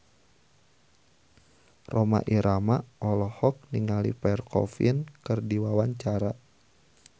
Rhoma Irama olohok ningali Pierre Coffin keur diwawancara